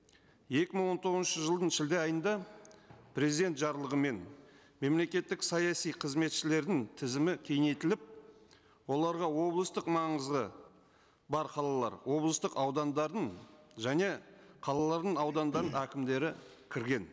екі мың он тоғызыншы жылдың шілде айында президент жарлығымен мемлекеттік саяси қызметшілердің тізімі кеңейтіліп оларға облыстық маңызы бар қалалар облыстық аудандардың және қалалардың аудандар әкімдері кірген